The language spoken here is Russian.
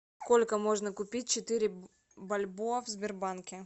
сколько можно купить четыре бальбоа в сбербанке